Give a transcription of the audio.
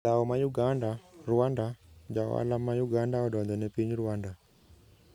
Dhao ma Uganda, Rwanda: Jaohala ma Uganda odonjo ne piny Rwanda